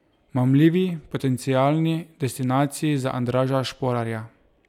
Mamljivi potencialni destinaciji za Andraža Šporarja!